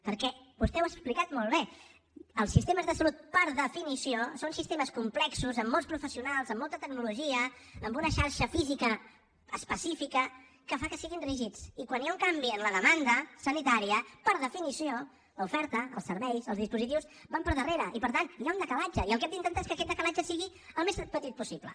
perquè vostè ho ha explicat molt bé els sistemes de salut per definició són sistemes complexos amb molts professionals amb molta tecnologia amb una xarxa física específica que fa que siguin rígids i quan hi ha un canvi en la demanda sanitària per definició l’oferta els serveis els dispositius van per darrere i per tant hi ha un decalatge i el que hem d’intentar que aquest decalatge sigui al més petit possible